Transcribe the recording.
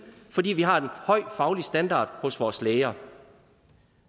fordi vi har en høj faglig standard hos vores læger